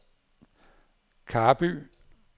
Karby